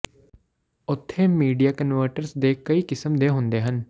ਉੱਥੇ media converters ਦੇ ਕਈ ਕਿਸਮ ਦੇ ਹੁੰਦੇ ਹਨ